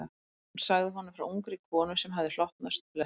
Hún sagði honum frá ungri konu sem hafði hlotnast blessun.